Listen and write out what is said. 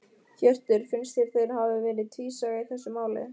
Hjörtur: Finnst þér þeir hafi verið tvísaga í þessu máli?